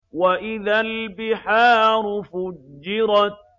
وَإِذَا الْبِحَارُ فُجِّرَتْ